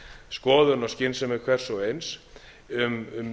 skoðun og skynsemi hvers og eins um